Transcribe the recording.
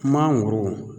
Kuma goro